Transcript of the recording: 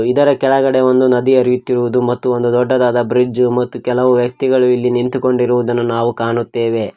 ಇದರ ಕೆಳಗಡೆ ಒಂದು ನದಿ ಹರಿಯುತ್ತಿರುವುದು ಮತ್ತು ಒಂದು ದೊಡ್ಡದಾದ ಬ್ರಿಡ್ಜು ಮತ್ತು ಕೆಲವು ವ್ಯಕ್ತಿಗಳು ಇಲ್ಲಿ ನಿಂತುಕೊಂಡಿರುವುದನ್ನು ನಾವು ಕಾಣುತ್ತೆವೆ.